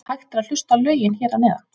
Hægt er að hlusta á lögin hér að neðan.